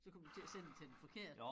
Så kommer du til at sende til den forkerte